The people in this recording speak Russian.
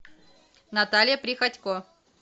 наталья приходько